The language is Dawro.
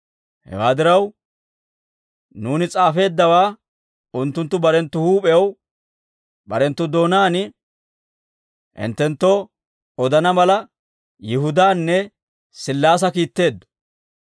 Hewaa diraw, nuuni s'aafeeddawaa unttunttu barenttu huup'ew barenttu doonaan hinttenttoo odana mala, Yihudaanne Sillaasa kiitteeddo.